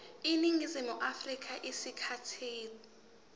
eningizimu afrika isikhathi